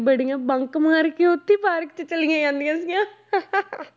ਬੜੀਆਂ ਬੰਕ ਮਾਰ ਕੇ ਉੱਥੇ ਪਾਰਕ 'ਚ ਚਲੀਆਂ ਜਾਂਦੀਆ ਸੀਗੀਆਂ